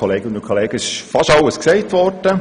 Konflikte gibt es immer wieder.